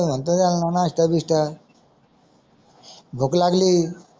भूक लागली